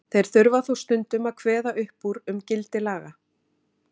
þeir þurfa þó stundum að kveða upp úr um gildi laga